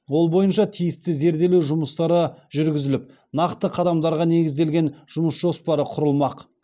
ол бойынша тиісті зерделеу жүмыстары жүргізіліп нақты қадамдарға негізделген жұмыс жоспары құрылмақ